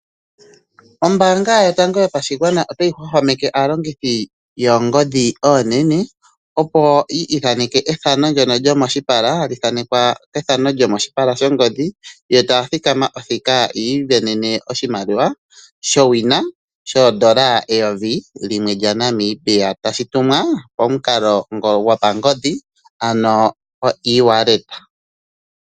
Ombaanga yotango yopashigwana otayi hwahwameke aalongithi yoongodhi oonene, opo yi ithaneke ethano ndono lyomoshipala, hali thaanekwa kethano lyomoshipala shongodhi, yo taya thikama othika yi isindanene oshimaliwa showina shoondola eyovi limwe lyaNamibia, tashi tumwa pomukalo ngo gopangodhi ano oewallet.